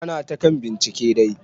Ana ta kan bincike dai.